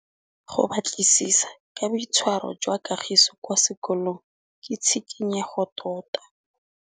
Go batlisisa ka boitshwaro jwa Kagiso kwa sekolong ke tshikinyêgô tota.